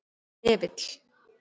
Hnefill